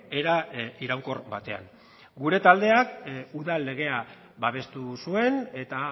era iraunkor batean gure taldeak udal legea babestu zuen eta